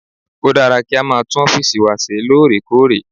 Ó dára kí a máa tún ọ́fìsì wa ṣeré lóòrèkóòrè